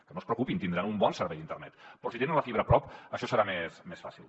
que no es preocupin tindran un bon servei d’internet però si tenen la fibra a prop això serà més fàcil